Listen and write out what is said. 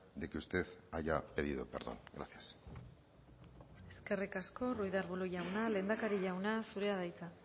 de que usted haya pedido perdón gracias eskerrik asko ruiz de arbulo jauna lehendakari jauna zurea da hitza